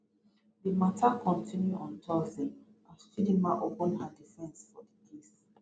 di mata kontinu on thursday as chidinma open her defence for di case